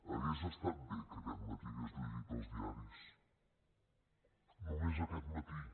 hauria estat bé que aquest matí hagués llegit els diaris només aquest matí